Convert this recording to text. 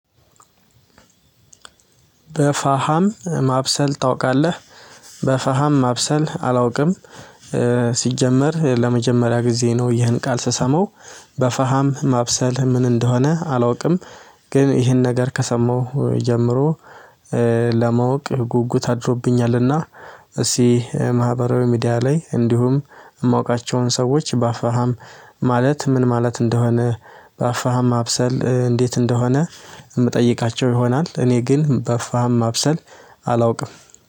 በፋሃም ማብሰል ታውቃለህ በሀሃም ማብሰል አላውቅም። ሲጀመር ለመጀመሪያ ጊዜ ነው ይህን ቃል ስሰማው በፋሃም ማብሰል ምን እንደሆነ አላውቅም። ግን ይሄን ነገር ከሰማሁ ጀምሮ ለማወቅ ጉጉት አድሮብኛል። እና እሲ ማህበራዊ ሚዲያ ላይ እንዲሁም እማውቃቸውን ሰዎች በአፋሃም ማለት ምን ማለት እንደሆነ በአፋሃም ማብሰል እንዴት እንደሆነ እምጠይቃቸው ይሆናል። እኔ ግን በፋሃም ማብሰል አላውቅም።